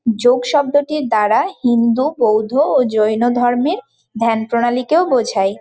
যোগ শব্দটির দ্বারা হিন্ধু বৌদ্ধ ও জৈন ধর্মের ধ্যান প্রণালীকেও বোঝায়।